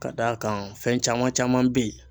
Ka d'a kan fɛn caman caman be yen